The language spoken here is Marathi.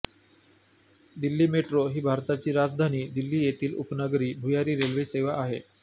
दिल्ली मेट्रो ही भारताची राजधानी दिल्ली येथील उपनगरी भुयारी रेल्वे सेवा आहे